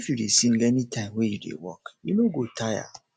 if you dey sing anytime wey you dey work you no go tire no go tire